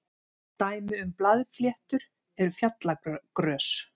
dæmi um blaðfléttur eru fjallagrös